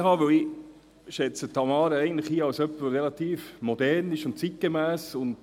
Denn eigentlich schätze ich Tamara Funiciello als jemanden ein, der relativ modern und zeitgemäss ist.